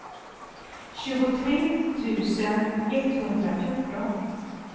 tjugotre tusen etthundrafjorton